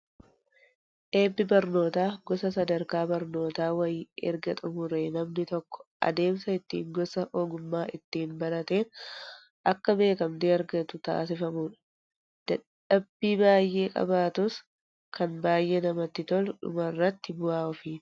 Eebbi barnootaa gosa sadarkaa barnootaa wayii erga xumuree namni tokko adeemsa ittiin gosa ogummaa ittiin barateen akka beekamtii argatu taasifamudha. Dadhabbii baay'ee qabaatus kan baay'ee namatti tolu dhumarra bu'aa ofiiti.